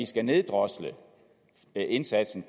skal neddrosle indsatsen